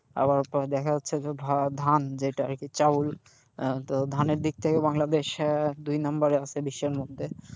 আবার পরে দেখা যাচ্ছে যে ধান যেটা আরকি চাউল, হ্যাঁ তো ধানের দিক থেকে বাংলাদেশ দুই number এ আছে বিশ্বের মধ্যে।